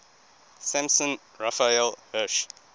samson raphael hirsch